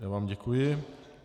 Já vám děkuji.